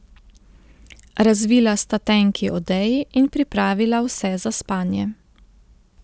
Razvila sta tenki odeji in pripravila vse za spanje.